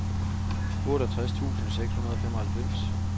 otteogtres tusind seks hundrede og femoghalvfems